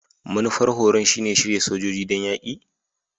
Manufar horon shine shirya sojoji don yaki?